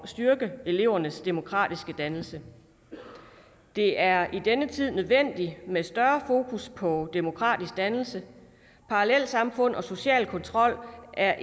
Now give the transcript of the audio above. styrke elevernes demokratiske dannelse det er i denne tid nødvendigt med et større fokus på demokratisk dannelse parallelsamfund og social kontrol er